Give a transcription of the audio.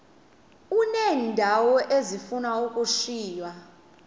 uneendawo ezifuna ukushiywa